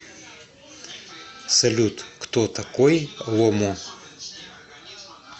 салют кто такой ломо